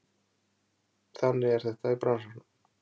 Þannig er þetta í bransanum